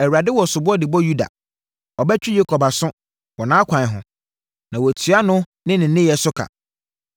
Awurade wɔ soboɔ de bɔ Yuda; ɔbɛtwe Yakob aso, wɔ nʼakwan ho na watua no ne nneyɛeɛ so ka.